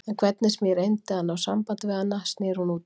En hvernig sem ég reyndi að ná sambandi við hana sneri hún útúr.